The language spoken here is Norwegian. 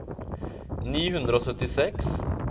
ni hundre og syttiseks